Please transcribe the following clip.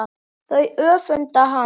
Þau öfunda hana.